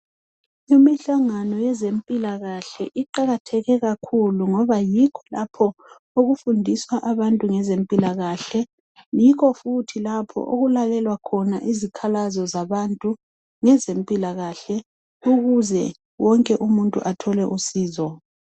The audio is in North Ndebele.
Imihlangano yezempilakahle iqakatheke kakhulu ngoba yikho lapho okufundiswa abantu ngezempilakahle yikho futhi lapho okulalelwa khona izikhalazo zabantu ngezempilakahle ukuze wonke umuntu athole usizo.